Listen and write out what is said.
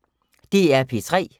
DR P3